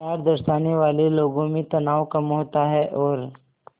प्यार दर्शाने वाले लोगों में तनाव कम होता है और